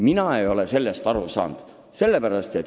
Mina ei ole sellest aru saanud.